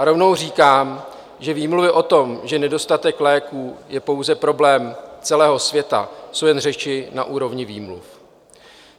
A rovnou říkám, že výmluvy o tom, že nedostatek léků je pouze problém celého světa, jsou jen řeči na úrovni výmluv.